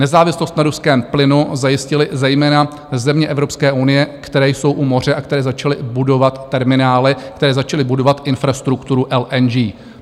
Nezávislost na ruském plynu zajistily zejména země Evropské unie, které jsou u moře a které začaly budovat terminály, které začaly budovat infrastrukturu LNG.